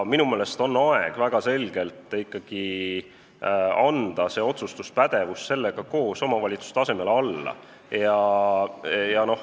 Minu meelest on aeg anda see otsustuspädevus sellega koos omavalitsuste alla.